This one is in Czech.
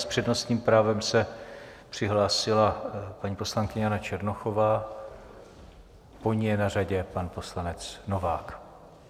S přednostním právem se přihlásila paní poslankyně Jana Černochová, po ní je na řadě pan poslanec Novák.